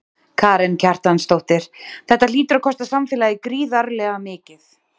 Karen Kjartansdóttir: Þetta hlýtur að kosta samfélagið gríðarlega mikið?